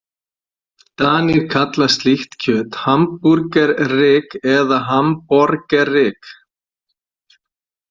Danir kalla slíkt kjöt hamburgerryg eða hamborgerryg.